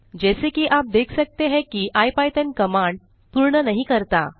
जैसा कि आप देख सकते हैं कि इपिथॉन कमांड पूर्ण नहीं करता